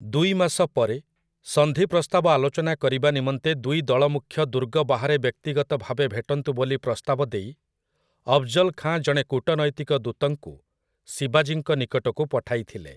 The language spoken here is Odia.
ଦୁଇ ମାସ ପରେ, ସନ୍ଧି ପ୍ରସ୍ତାବ ଆଲୋଚନା କରିବା ନିମନ୍ତେ ଦୁଇ ଦଳମୁଖ୍ୟ ଦୁର୍ଗ ବାହାରେ ବ୍ୟକ୍ତିଗତ ଭାବେ ଭେଟନ୍ତୁ ବୋଲି ପ୍ରସ୍ତାବ ଦେଇ, ଅଫ୍‌ଜଲ୍ ଖାଁ ଜଣେ କୂଟନୈତିକ ଦୂତଙ୍କୁ ଶିବାଜୀଙ୍କ ନିକଟକୁ ପଠାଇଥିଲେ ।